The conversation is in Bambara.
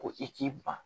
Ko i k'i ban